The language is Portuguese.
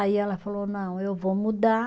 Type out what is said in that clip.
Aí ela falou, não, eu vou mudar.